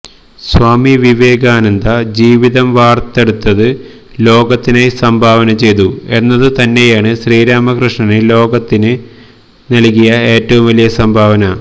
സ്വാമി വിവേകാനന്ദ ജീവിതം വാര്ത്തെടുത്ത് ലോകത്തിനായി സംഭാവനചെയ്തു എന്നതുതന്നെയാണ് ശ്രീരാമകൃഷ്ണന് ലോകത്തിനു നല്കിയ ഏറ്റവും വലിയ സംഭാവന